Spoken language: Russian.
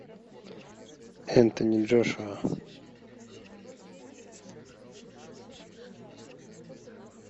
энтони джошуа